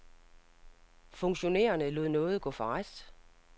Funktionærerne lod nåde gå for ret.